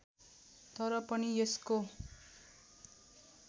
तर पनि यसको